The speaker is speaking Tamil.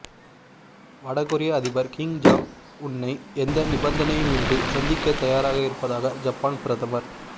வடகொரியா அதிபர் கிம் ஜாங் உன்னை எந்த நிபந்தனையுமின்றி சந்திக்க தயராக இருப்பதாக ஜப்பான் பிரதமர்